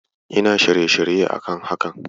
Ina shirye-shirye a kan haka.